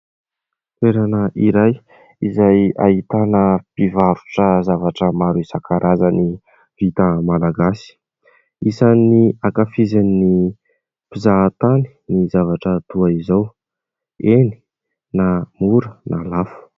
toerana iray izay ahitana mpivarotra zavatra maro isankarazany vita malagasy, isan'ny ankafizin'ny mpizahan-tany ny zavatra toa izao ;eny na mora na lafo